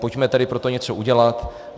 Pojďme tedy pro to něco udělat.